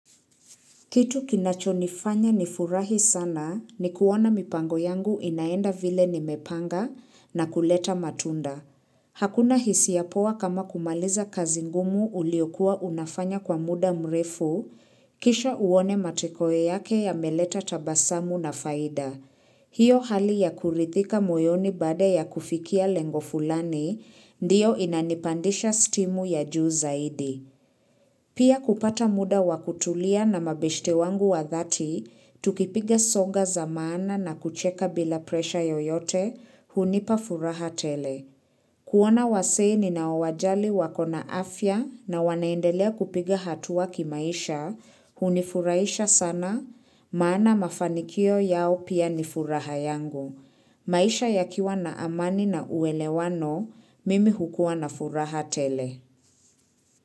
Kitu kinachonifanya nifurahi sana ni kuona mipango yangu inaenda vile nimepanga na kuleta matunda. Hakuna hisiya poa kama kumaliza kazi ngumu uliokua unafanya kwa muda mrefu, kisha uone matokeo yake yameleta tabasamu na faida. Hio hali ya kurithika moyoni baada ya kufikia lengo fulani, ndiyo inanipandisha stimu ya juu zaidi. Pia kupata muda wa kutulia na mabeshte wangu wa dhati, tukipiga soga za maana na kucheka bila presha yoyote, hunipa furaha tele. Kuona wasee ninaowajali wako na afya na wanaendelea kupiga hatuwa kimaisha, hunifurahisha sana, maana mafanikio yao pia ni furaha yangu. Maisha yakiwa na amani na uwelewano, mimi hukua na furaha tele.